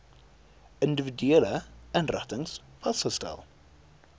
individuele inrigtings vasgestel